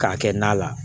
K'a kɛ na la